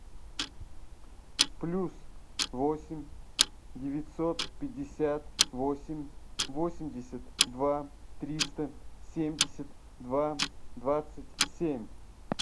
плюс восемь девятьсот пятьдесят восемь восемьдесят два триста семьдесят два двадцать семь